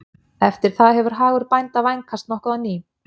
Eftir það hefur hagur bænda vænkast nokkuð á ný.